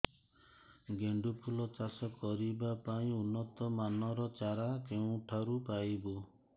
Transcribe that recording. ଗେଣ୍ଡୁ ଫୁଲ ଚାଷ କରିବା ପାଇଁ ଉନ୍ନତ ମାନର ଚାରା କେଉଁଠାରୁ ପାଇବୁ